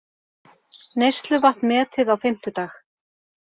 Neysluvatn metið á fimmtudag